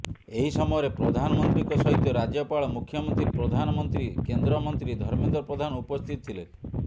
ଏହି ସମୟରେ ପ୍ରଧାନମନ୍ତ୍ରୀଙ୍କ ସହିତ ରାଜ୍ୟପାଳ ମୁଖ୍ୟମନ୍ତ୍ରୀ ପ୍ରଧାନମନ୍ତ୍ରୀ କେନ୍ଦ୍ରମନ୍ତ୍ରୀ ଧର୍ମେନ୍ଦ୍ର ପ୍ରଧାନ ଉପସ୍ଥିତ ଥିଲେ